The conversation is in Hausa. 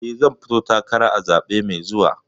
Eh, zan fito takara a zaɓe mai zuwa.